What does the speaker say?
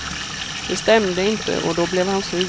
Det stämde inte, och då blev han sur.